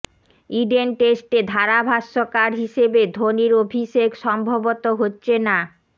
Eden টেস্টে ধারাভাষ্যকার হিসেবে ধোনির অভিষেক সম্ভবত হচ্ছে না